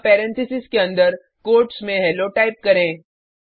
अब पैरेंथेसिस के अंदर कोट्स में हेलो टाइप करें